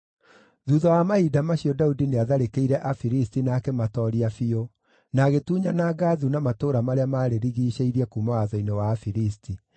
Thuutha wa mahinda macio, Daudi nĩatharĩkĩire Afilisti na akĩmatooria biũ, na agĩtunyana Gathu na matũũra marĩa maarĩrigiicĩirie kuuma watho-inĩ wa Afilisti.